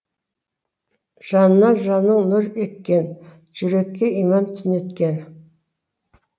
жанына жанның нұр еккен жүрекке иман түнеткен